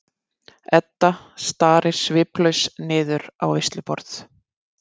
Edda starir sviplaus niður á veisluborð.